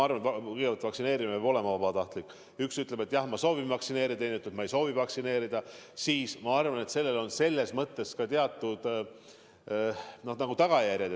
Mina lähtuksin põhimõttest, et kui on kaks inimest, üks ütleb, et jah, ma soovin vaktsineerida, teine ütleb, ma ei soovi vaktsineerida, siis mõlemal otsusel on ka teatud tagajärjed.